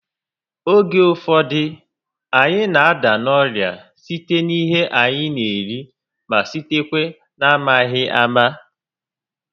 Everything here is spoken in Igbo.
Oge ụfọdụ, anyị na- ada n'orịa site n'ihe anyị n'eri ma sitekwa n'amaghị ámá